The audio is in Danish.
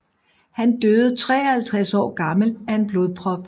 Han døde 53 år gammel af en blodprop